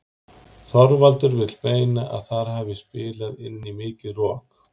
Þorvaldur vill meina að þar hafi spilað inn í mikið rok.